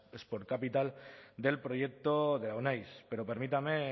sport capital del proyecto euneiz pero permítanme